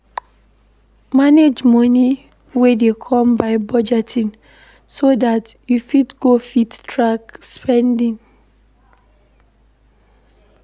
Manage money wey dey come by budgeting so dat you go fit track spending